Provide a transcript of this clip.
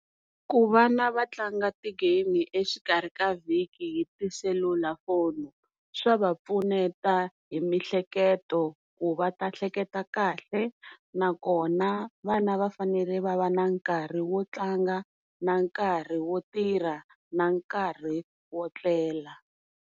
Ku vana va tlanga ti game exikarhi ka vhiki hi tiselulafoni swa va pfuneta hi mihleketo ku va ta hleketa kahle nakona vana va fanele va va na nkarhi wo tlanga na nkarhi wo tirha na nkarhi wo tlela.